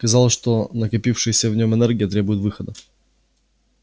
казалось что накопившаяся в нем энергия требует выхода